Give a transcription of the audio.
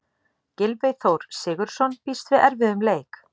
Gylfi Þór Sigurðsson býst við erfiðum leik.